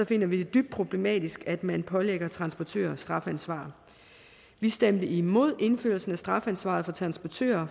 finder vi det dybt problematisk at man pålægger transportører strafansvar vi stemte imod forslaget indførelse af strafansvar for transportører